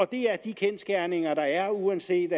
det er de kendsgerninger der er uanset